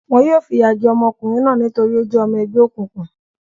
Wọn yóò fìyà jẹ ọmọkùnrin náà nítorí ó jẹ́ ọmọ ẹgbẹ́ òkùnkùn.